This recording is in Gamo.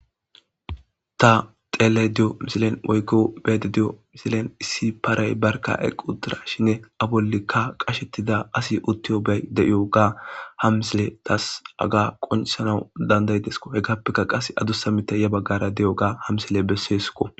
Ta xeellayda diyo misilen woykko be'aydda diyo misilen issi paray barkka eqqi uttidashininne a bollankka qashettida asi uttiyoga de'iyoga ha misiley taas haga qonccisanaw danda'ides. Hegappekka qassi adussa mittay ya baggara diyoga ha misiley bessesiko.